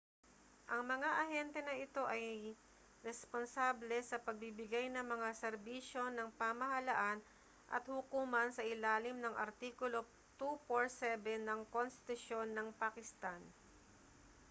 ang mga ahente na ito ay responsable sa pagbibigay ng mga serbisyo ng pamahalaan at hukuman sa ilalim ng artikulo 247 ng konstitusyon ng pakistan